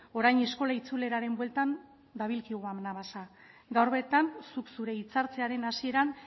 orain eskola itzuleraren bueltan dabilkigu anabasa gaur bertan zuk zure hitza hartzearen hasieran